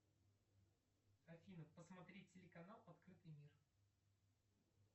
афина посмотреть телеканал открытый мир